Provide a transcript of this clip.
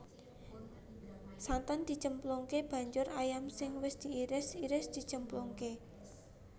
Santen dicemplungake banjur ayam sing wis diiris iris dicemplungake